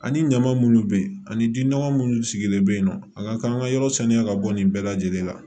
Ani ɲaman munnu bɛ yen ani ji nɔgɔ minnu sigilen bɛ yen nɔ a ka kan an ka yɔrɔ saniya ka bɔ nin bɛɛ lajɛlen la